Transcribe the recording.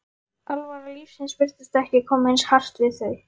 alvara lífsins virtist ekki koma eins hart við þau.